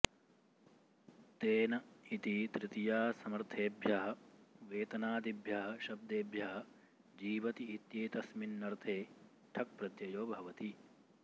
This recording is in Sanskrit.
तेन इति तृतीयासमर्थेभ्यः वेतनादिभ्यः शब्देभ्यः जीवति इत्येतस्मिन्नर्थे ठक् प्रत्ययो भवति